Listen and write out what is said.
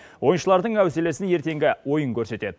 ойыншылардың әуселесін ертеңгі ойын көрсетеді